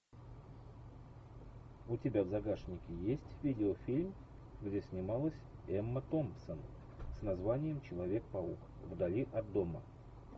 у тебя в загашнике есть видеофильм где снималась эмма томпсон с названием человек паук вдали от дома